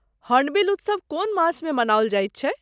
Hornbill उत्सव कोन मासमे मनाओल जाइत छै?